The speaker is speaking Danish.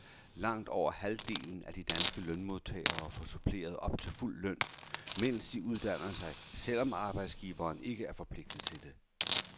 Langt over halvdelen af de danske lønmodtagere får suppleret op til fuld løn, mens de uddanner sig, selv om arbejdsgiveren ikke er forpligtet til det.